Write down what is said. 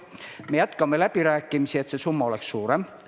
Me jätkame läbirääkimisi, et see summa oleks suurem.